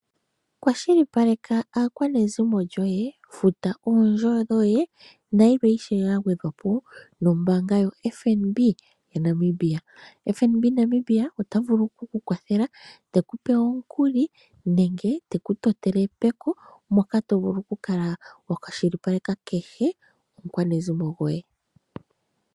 Kwashilipaleka aakwanezimo lyoye, futa oondjo dhoye nayilwe ishewe yagwedhwapo nombaanga yo FNB yaNamibia, FNB Namibia otavulu okukukwathela tekupe omukuli nenge tekutotele epeko moka tovulu okukala wakwashilipaleka kehe omukwanezimo gwoye.